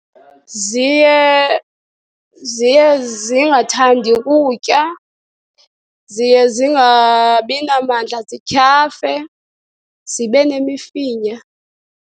Ziye ziye zingathandi kutya. Ziye zingabi namandla, zityhafe, zibe nemifinya.